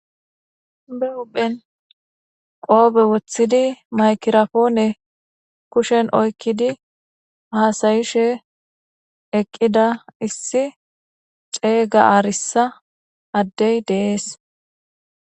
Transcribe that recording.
be uphen qoobe wothidi maykirapoone kushen oykkidi haasayishe eqqida issi xeeyga aarissa addey deees